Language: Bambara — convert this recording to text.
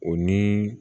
O ni